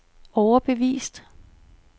overbevist